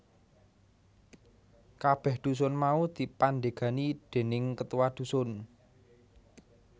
Kabeh dusun mau dipandhegani déning ketua dusun